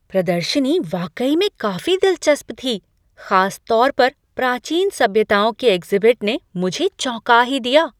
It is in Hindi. प्रदर्शनी वाकई में काफी दिलचस्प थी, खासतौर पर प्राचीन सभ्यताओं के एग्ज़िबिट ने मुझे चौंका ही दिया।